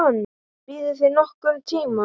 Biðuð þið nokkurn tíma?